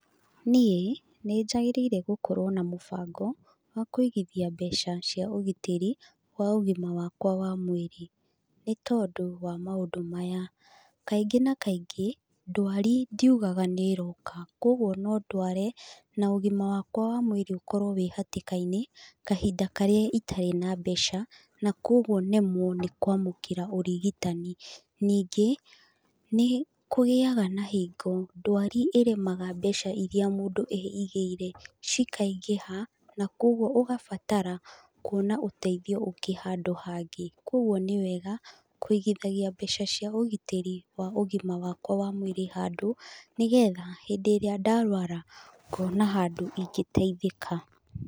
Niĩ, nĩ njagĩrĩire gũkorwo na mũbango, wa kũigithia mbeca cia ũgitĩri wa ũgima wakwa wa mwĩrĩ. Nĩ tondũ wa maũndũ maya; kaingĩ na kaingĩ, ndwari ndiugaga nĩ ĩroka, kũguo no ndware na ũgima wakwa wa mwĩrĩ ũkorwo wĩ hatĩka-inĩ, kahinda karĩa itarĩ na mbeca na kũguo nemwo nĩ kwamũkĩra ũrigitani. Ningĩ, nĩ kũgĩaga na hingo ndwari ĩremaga mbeca irĩa mũndũ eigĩire cikaingĩha na kũguo ũgabatara kuona ũteithio ũngĩ handũ hangĩ. Kũguo nĩ wega kũigithagia mbeca cia ũgitĩri wa ũgima wakwa wa mwĩrĩ handũ, nĩ getha hĩndĩ ĩrĩa ndarũara, ngona handũ ingĩteithĩka.